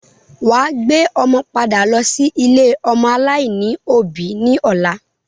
Wà á gbé ọmọ padà lọ́ sí ilé-ọmọ aláìní òbí ní ọ̀la.